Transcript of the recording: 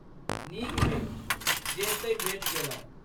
नीक भेल, जे एतहि भेटि गेलहुँ।